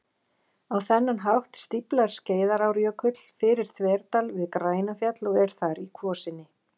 Á þennan hátt stíflar Skeiðarárjökull fyrir þverdal við Grænafjall og er þar í kvosinni